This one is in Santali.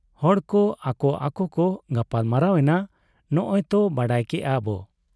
ᱦᱚᱲ ᱠᱚ ᱟᱠᱚ ᱟᱠᱚ ᱠᱚ ᱜᱟᱯᱟᱞ ᱢᱟᱨᱟᱣ ᱮᱱᱟ, ᱱᱚᱸᱜᱻ ᱚᱭ ᱛᱚ ᱵᱟᱰᱟᱭ ᱠᱮᱜ ᱟᱵᱚ ᱾